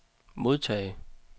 modtage